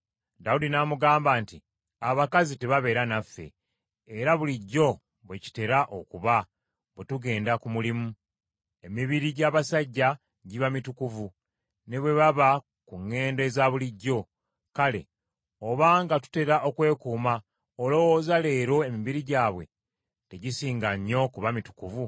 Dawudi n’amugamba nti, “Abakazi tebabeera naffe, era bulijjo bwe kitera okuba bwe tugenda ku mulimu. Emibiri gy’abasajja giba mitukuvu ne bwe baba ku ŋŋendo eza bulijjo. Kale obanga tutera okwekuuma, olowooza leero emibiri gyabwe tegisinga nnyo kuba mitukuvu?”